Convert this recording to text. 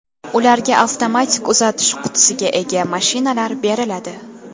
Ularga avtomatik uzatish qutisiga ega mashinalar beriladi.